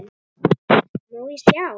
Má ég sjá?